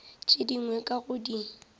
tše dingwe ka go di